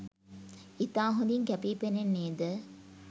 ඉතා හොඳීන් කැපී පෙනෙන්නේද